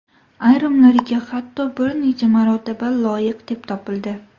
Ayrimlariga hatto bir necha marotaba loyiq deb topildi.